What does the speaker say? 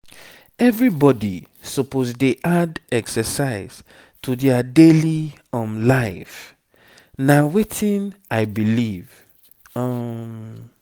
everybody suppose dey add exercise to their daily um life na wetin i believe. um